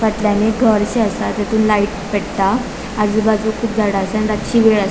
फाटल्यान एक घरशे असा तातुन लाइट पेट्टा आजुबाजुक खूप झाड़ा असा आणि रातची वेळ असा.